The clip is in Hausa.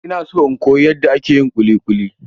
Ina so in koyi yanda ake yin kuli kuli.